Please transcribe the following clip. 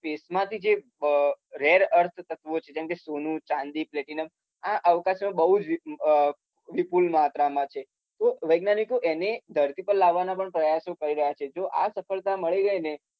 સ્પેસમાથી કે જે રેર અર્ધતત્વો છે જેમ કે સોનુ, ચાંદી, પ્લેટીનમ આ અવકાશમાં બઉ જ વિપુલ માત્રામાં છે. તો વૈજ્ઞાનીકો એને ધરતી લાવવાના પણ પ્રયાસો કરી રહ્યા છે. જો આ સફળતા મળી ગઈને